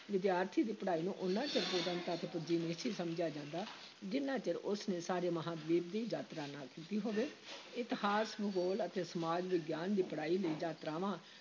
ਵਿਦਿਆਰਥੀ ਦੀ ਪੜ੍ਹਾਈ ਨੂੰ ਓਨਾ ਚਿਰ ਪੂਰਨਤਾ ‘ਤੇ ਪੁੱਜੀ ਨਹੀਂ ਸੀ ਸਮਝਿਆ ਜਾਂਦਾ, ਜਿੰਨਾ ਚਿਰ ਉਸ ਨੇ ਸਾਰੇ ਮਹਾਂਦੀਪ ਦੀ ਯਾਤਰਾ ਨਾ ਕੀਤੀ ਹੋਵੇ ਇਤਿਹਾਸ, ਭੂਗੋਲ ਅਤੇ ਸਮਾਜ ਵਿਗਿਆਨ ਦੀ ਪੜ੍ਹਾਈ ਲਈ ਯਾਤਰਾਵਾਂ